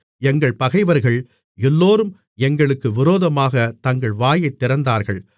எங்கள் பகைவர்கள் எல்லோரும் எங்களுக்கு விரோதமாகத் தங்கள் வாயைத் திறந்தார்கள்